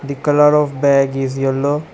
The colour of bag is yellow.